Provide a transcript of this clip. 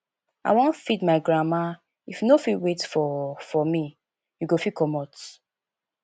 i wan feed my grandma if you no fit wait for for me you go fit comot